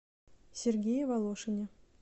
сергее волошине